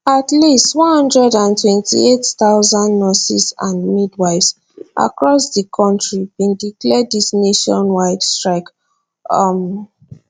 at least one hundred and twenty eight thousand nurses and midwives across di kontri bin declare dis nationwide strike um